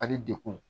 Ani dekun